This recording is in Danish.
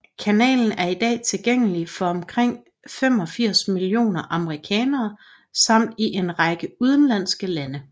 Kanalen er i dag tilgængelig for omkring 85 millioner amerikanere samt i en række udenlandske lande